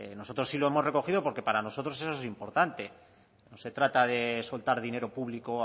nosotros sí lo hemos recogido porque para nosotros eso es importante no se trata de soltar dinero público